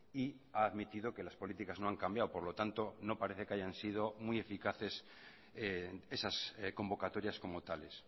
y ha admitido que las políticas no han cambiado por lo tanto no parece que hayan sido muy eficaces esas convocatorias como tales